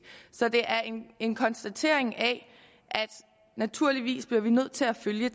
så det er en konstatering af at naturligvis bliver vi nødt til at følge